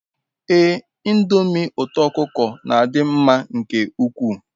Ee ndomi uto okuko n'adi nma nke ukwu